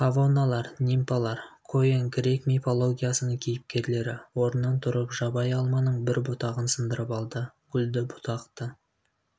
фавоналар нимфалар көен грек мифологиясының кейіпкерлері орнынан тұрып жабайы алманың бір бұтағын сындырып алды гүлді бұтақты